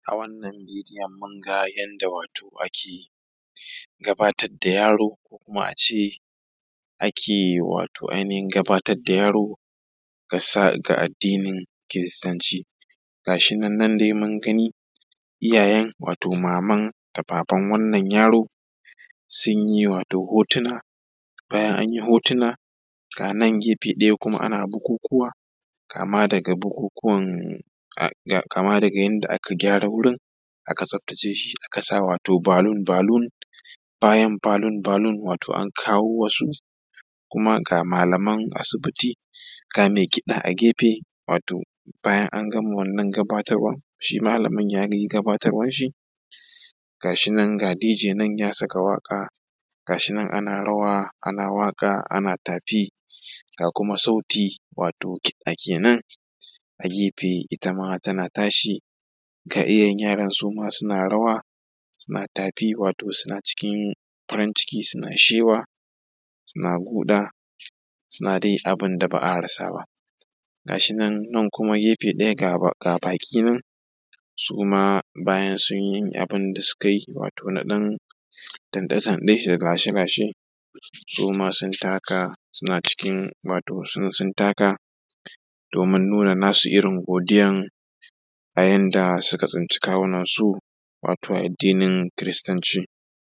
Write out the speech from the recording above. A wannan video mun ga yadda wato ake gabaatadda yaro ko kuma a ce ake wato ainihin gabatadda yaro ga sa addnin kiristanci ga shi nan dai mun gani iyayen wato maman da baban wannan yaro sun yi wato hotuna bayan an yi hotuna ga nan gefe ɗaya kuma ana bukukuwa, kama daga bukukuwan a kama daga yanda aka kama wurin aka tsaftace shi ana sa wato balun balun bayan balun balun wato an kawo wasu kuma ga malaman asibiti ga mai kiɗa a gefe wato bayan an gama wannan gabatarwan malamin yayi gabaatarwan shi ga shi nan ga dj nan ya saka waƙa ga shinan ana rawa ana waƙa ana tafi ga kuma sauti wato kiɗa kenan agefe wato itama tana tashi ga iyayen yaron su ma suna rawa suna tafi wato suna cikin farin ciki suna shewa suna guɗaa suna dai abin da ba’a rasa ba ga shinan nan gefe ɗaya ga baƙi nan suma bayan sun yi abin da suka yi wato na ɗan tanɗe-tanɗe da lashe-lashe su ma sun taka suna cikin wato su sun taka doomin nuna nasu irin godiyan a yanda suka tsinci kawunansu wato a addinin kiristanci